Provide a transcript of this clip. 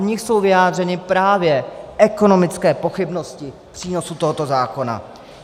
V nich jsou vyjádřeny právě ekonomické pochybnosti přínosu tohoto zákona.